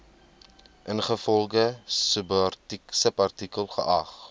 ingevolge subartikel geag